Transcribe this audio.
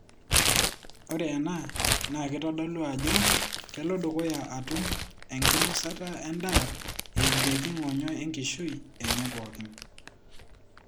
Ore ena na kitodolu ajo kelodukuya atum enkinosata endaa emieki ngonyo enkishui enye pokin.